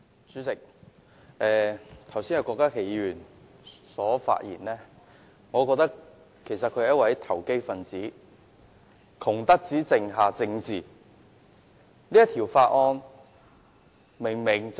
主席，郭家麒議員剛才的發言令我覺得他是"窮得只剩下政治"的投機分子。